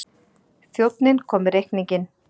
Þjónninn kom með reikninginn.